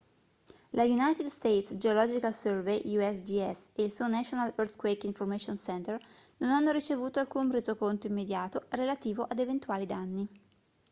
lo united states geological survey usgs e il suo national earthquake information center non hanno ricevuto alcun resoconto immediato relativo ad eventuali danni